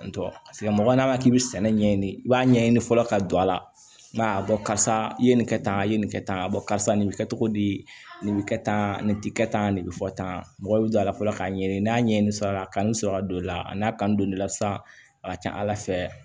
Paseke mɔgɔ n'a k'i bɛ sɛnɛ ɲɛɲini i b'a ɲɛɲini fɔlɔ ka don a la ma a bɔ karisa i ye nin kɛ tan i ye nin kɛ tan a bɔ karisa nin bɛ kɛ togo di nin bɛ kɛ tan nin tɛ kɛ tan nin bɛ fɔ tan mɔgɔ bɛ don a la fɔlɔ k'a ɲɛɲini n'a ɲɛɲini la kanu sɔrɔ ka don i la a n'a kanu don n'i la sisan a ka ca ala fɛ